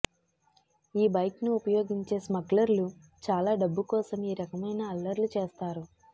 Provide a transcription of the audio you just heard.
ఈ బైక్ను ఉపయోగించే స్మగ్లర్లు చాలా డబ్బు కోసం ఈ రకమైన అల్లర్లు చేస్తారు